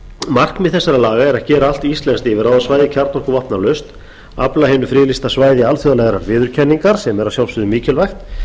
markmið þessara laga er að gera allt íslenskt yfirráðasvæði kjarnorkuvopnalaust afla hinu friðlýsa svæði alþjóðlegrar viðurkenningar sem er að sjálfsögðu mikilvægt